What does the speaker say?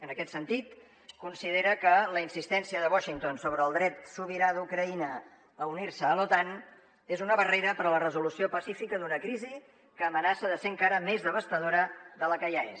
en aquest sentit considera que la insistència de washington sobre el dret sobirà d’ucraïna a unir·se a l’otan és una barrera per a la resolució pacífica d’una crisi que amenaça de ser encara més devastadora que la que ja és